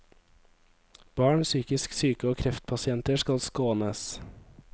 Barn, psykisk syke og kreftpasienter skal skånes.